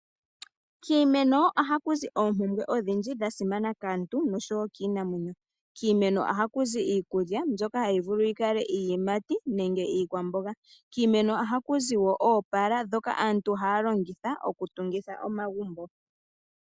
Kiimeno oha kuzi oompumbwe odhindji dhasimana kaantu noshowo kiinamwenyo ,kiimeno oha kuzi iikulya mbyoka hayivulu yikale iiyimati nenge iikwamboga ,kiimeno oha kuzi wo oopaala dhoka aantu haalongitha oku tungitha omagumbo.